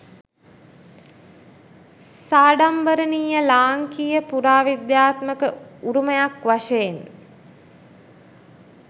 සාඩම්බරණීය ලාංකීය පුරාවිද්‍යාත්මක උරුමයක් වශයෙන්